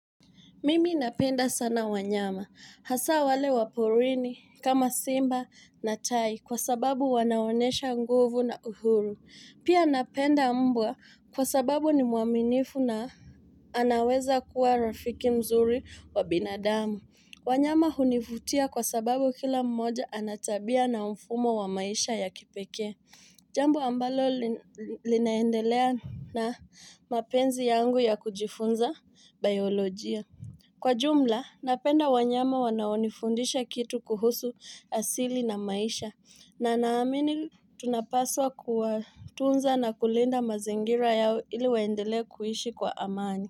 Mimi napenda sana wanyama. Hasa wale wa porini kama Simba na tai kwa sababu wanaonesha nguvu na uhuru. Pia napenda mbwa kwa sababu ni mwaminifu na anaweza kuwa rafiki mzuri wa binadamu. Wanyama hunivutia kwa sababu kila mmoja ana tabia na mfumo wa maisha ya kipekee. Jambo ambalo linaendelea na mapenzi yangu ya kujifunza biolojia. Kwa jumla, napenda wanyama wanaonifundisha kitu kuhusu asili na maisha na naamini tunapaswa kuwatunza na kulinda mazingira yao ili waendelee kuishi kwa amani.